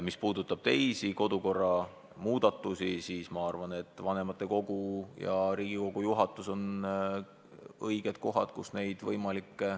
Mis puudutab kodukorra teisi võimalikke muudatusi, siis ma arvan, et vanematekogu ja Riigikogu juhatus on õiged kohad, kus neid arutada.